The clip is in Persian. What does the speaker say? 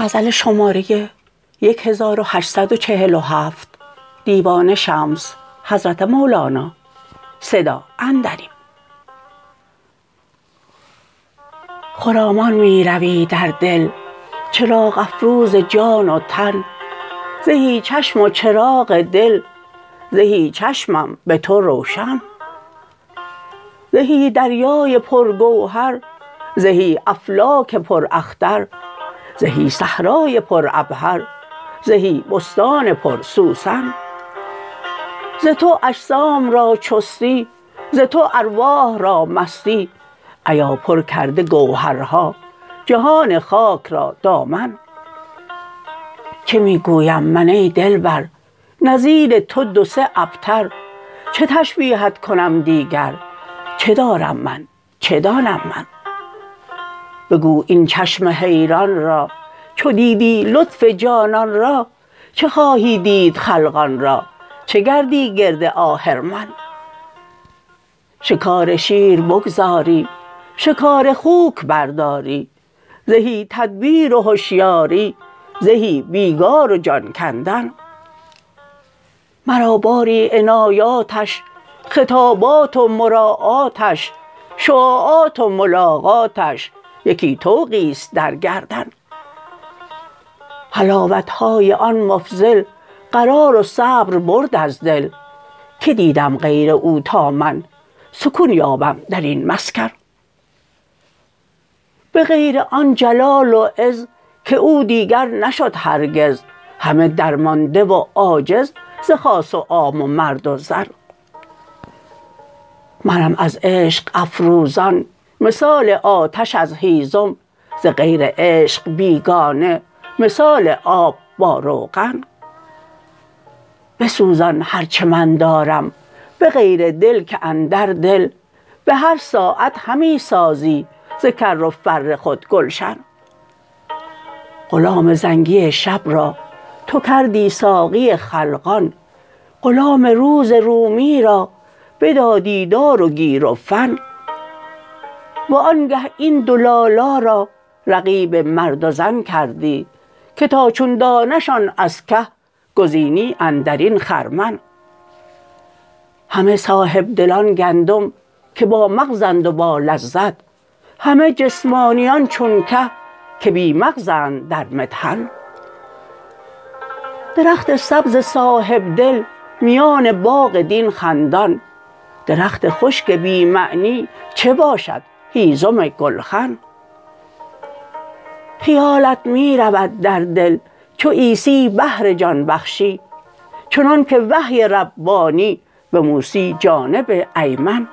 خرامان می روی در دل چراغ افروز جان و تن زهی چشم وچراغ دل زهی چشمم به تو روشن زهی دریای پر گوهر زهی افلاک پر اختر زهی صحرای پر عبهر زهی بستان پر سوسن ز تو اجسام را چستی ز تو ارواح را مستی ایا پر کرده گوهرها جهان خاک را دامن چه می گویم من ای دلبر نظیر تو دو سه ابتر چه تشبیهت کنم دیگر چه دارم من چه دانم من بگو ای چشم حیران را چو دیدی لطف جانان را چه خواهی دید خلقان را چه گردی گرد آهرمن شکار شیر بگذاری شکار خوک برداری زهی تدبیر و هشیاری زهی بیگار و جان کندن مرا باری عنایاتش خطابات و مراعاتش شعاعات و ملاقاتش یکی طوقی است در گردن حلاوت های آن مفضل قرار و صبر برد از دل که دیدم غیر او تا من سکون یابم در این مسکن به غیر آن جلال و عز که او دیگر نشد هرگز همه درمانده و عاجز ز خاص و عام و مرد و زن منم از عشق افروزان مثال آتش از هیزم ز غیر عشق بیگانه مثال آب با روغن بسوزان هر چه من دارم به غیر دل که اندر دل به هر ساعت همی سازی ز کر و فر خود گلشن غلام زنگی شب را تو کردی ساقی خلقان غلام روز رومی را بدادی دار و گیر و فن وآنگه این دو لالا را رقیب مرد و زن کردی که تا چون دانه شان از که گزینی اندر این خرمن همه صاحب دلان گندم که بامغزند و با لذت همه جسمانیان چون که که بی مغزند در مطحن درخت سبز صاحب دل میان باغ دین خندان درخت خشک بی معنی چه باشد هیزم گلخن خیالت می رود در دل چو عیسی بهر جان بخشی چنانک وحی ربانی به موسی جانب ایمن